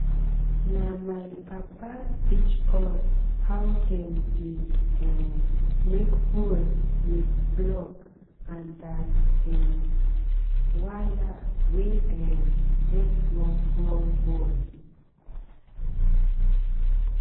na my papa teach us how dem dey um make hole with block and that um wire wey um get small small hole.